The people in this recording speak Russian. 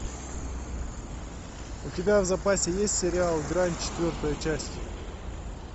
у тебя в запасе есть сериал грань четвертая часть